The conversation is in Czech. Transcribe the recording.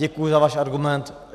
Děkuji za váš argument.